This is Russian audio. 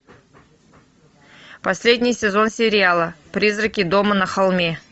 последний сезон сериала призраки дома на холме